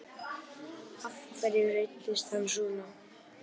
Af hverju reiddist hann svona?